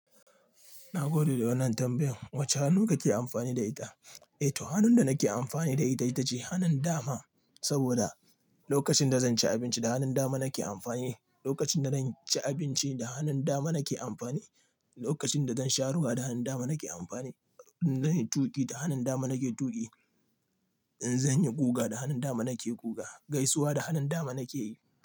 Na gode da wannan tambayan. Wace hannu kake amfani da ita? Eh to, hannun da nake amfani da ita, ita ce hannun dama. Saboda lokacin da zan ci abinci da hannun dama nake amfani, lokacin da zan ci abinci da hannun dama nake amfani, lokacin da zan sha ruwa da hannun dama nake amfani. In zan yi tuƙi da hannun dama nake tuƙi. In zan yi guga da hannun dama nake guga. Gaisuwa da hannun dama nake yi.